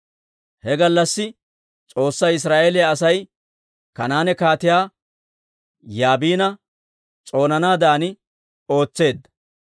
He gallassi S'oossay Israa'eeliyaa Asay Kanaane Kaatiyaa Yaabina s'oonanaadan ootseedda.